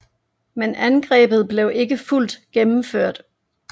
Men angrebet blev ikke fuldt gennemført